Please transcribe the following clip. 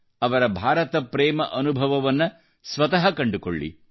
ಅವರ ಭಾರತಪ್ರೇಮದ ಅನುಭವವನ್ನು ಸ್ವತಃ ಕಂಡುಕೊಳ್ಳಿ